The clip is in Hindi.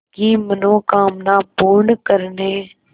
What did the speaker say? की मनोकामना पूर्ण करने